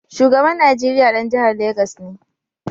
Shugaban Nigeriya ɗan jihar Legas ne